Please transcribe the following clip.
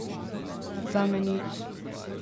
Zame nič.